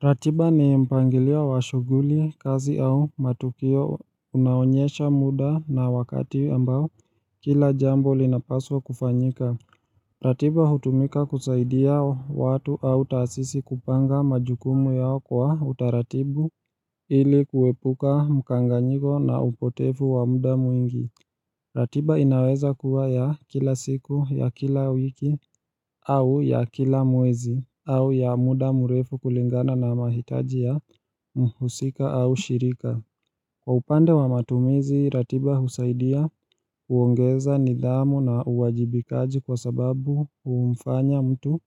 Ratiba ni mpangilio wa shughuli kazi au matukio unaoonyesha muda na wakati ambao kila jambo linapaswa kufanyika. Ratiba hutumika kusaidia watu au taasisi kupanga majukumu yao kwa utaratibu ili kuepuka mkanganyiko na upotefu wa muda mwingi. Ratiba inaweza kuwa ya kila siku, ya kila wiki, au ya kila mwezi, au ya muda murefu kulingana na mahitaji ya mhusika au shirika. Kwa upande wa matumizi, ratiba husaidia huongeza nidhamu na uwajibikaji kwa sababu humfanya mtu